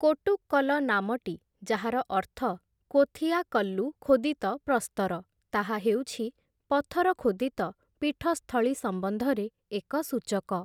କୋଟ୍ଟୁକ୍କଲ ନାମଟି, ଯାହାର ଅର୍ଥ କୋଥିଆ କଲ୍ଲୁ ଖୋଦିତ ପ୍ରସ୍ତର, ତାହା ହେଉଛି ପଥର ଖୋଦିତ ପୀଠସ୍ଥଳୀ ସମ୍ବନ୍ଧରେ ଏକ ସୂଚକ ।